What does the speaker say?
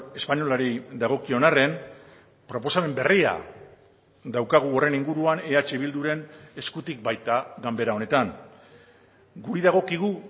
espainolari dagokion arren proposamen berria daukagu horren inguruan eh bilduren eskutik baita ganbera honetan guri dagokigu